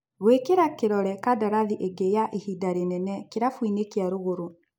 Gũĩkĩra kĩrore kandarathi ingĩ ya ihinda rĩnene kĩrabuinĩ kĩa Rũgũrũ.